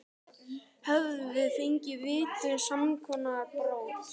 Hefðum við fengið víti á samskonar brot?